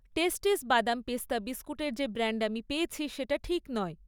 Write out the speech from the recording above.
টেস্টিস বাদাম পেস্তা বিস্কুটের যে ব্র্যান্ড আমি পেয়েছি সেটা ঠিক নয়